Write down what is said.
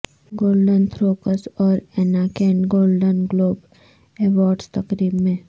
golden تھروکس اور Anna Kendrick Golden Globe Awards تقریب میں